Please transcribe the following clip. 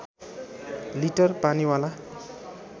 litre पानीवाला